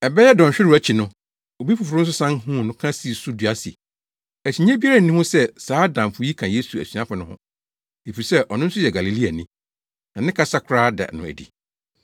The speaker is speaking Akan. Ɛbɛyɛ dɔnhwerew akyi no, obi foforo nso san huu no ka sii so dua se, “Akyinnye biara nni ho sɛ saa damfo yi ka Yesu asuafo no ho, efisɛ ɔno nso yɛ Galileani, na ne kasa koraa da no adi.”